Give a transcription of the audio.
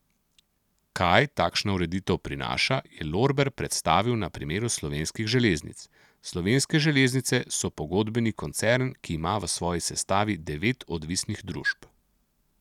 Kaj takšna ureditev prinaša, je Lorber predstavil na primeru Slovenskih železnic: 'Slovenske železnice so pogodbeni koncern, ki ima v svoji sestavi devet odvisnih družb.